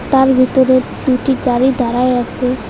তার ভিতরে দুটি গাড়ি দাঁড়ায় আসে।